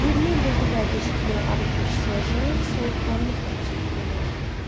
20 ildir bu vədə eşitməyə ad etmiş serjant soyuqqanlıqla təşəkkür elədi.